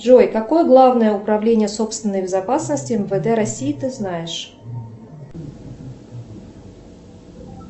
джой какое главное управление собственной безопасности мвд россии ты знаешь